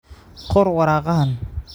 Qor waraaqahan.